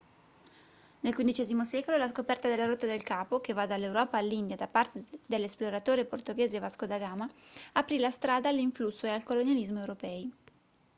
nel xv secolo la scoperta della rotta del capo che va dall'europa all'india da parte dell'esploratore portoghese vasco da gama aprì la strada all'influsso e al colonialismo europei